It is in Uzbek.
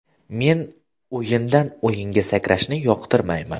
Men o‘yindan-o‘yinga sakrashni yoqtirmayman.